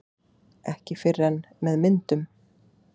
Ekki fyrr en með myndum